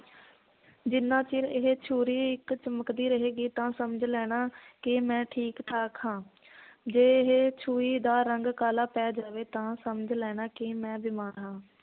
ਜਿਨਾਂ ਚਿਰ ਇਹ ਛੁਰੀ ਇਕ ਚਮਕਦੀ ਰਹੇਗੀ ਤਾਂ ਸਮਝ ਲੈਣਾ ਕਿ ਮੈ ਠੀਕ ਠਾਕ ਹਾਂ ਜੇ ਇਹ ਛੁਰੀ ਦਾ ਰੰਗ ਕਲਾ ਪੈ ਜਾਵੇ ਤਾਂ ਸਮਝ ਲੈਣਾ ਕਿ ਮੈ ਬਿਮਾਰ ਹਾਂ।